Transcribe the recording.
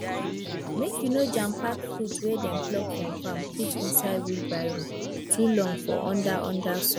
make you no jampack fruit wey dem pluck from farm put inside wheelbarrow too long for under under sun